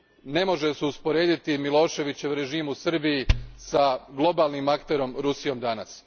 Ne može se usporediti Miloševićev režim u Srbiji s globalnim akterom Rusijom danas.